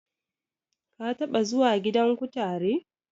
Ka taɓa zuwa gidan kutare?